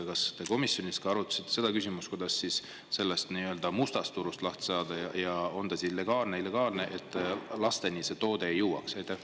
Kas te komisjonis ka arutasite seda küsimust, kuidas sellest nii-öelda mustast turust lahti saada ja, on ta siis legaalne, illegaalne, et lasteni see toode ei jõuaks?